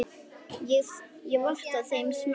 Ég vottaði þeim samúð mína.